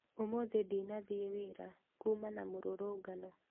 ũmũthĩ ndinathiĩ wĩra kuma na mĩrũrũngano